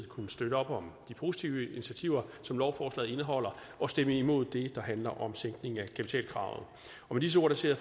kunne støtte op om de positive initiativer som lovforslaget indeholder og stemme imod det der handler om sænkning af kapitalkravet med disse ord ser